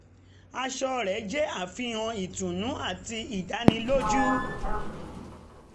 aṣọ rẹ̀ jẹ́ àfihàn um ìtùnú àti ìdánilójú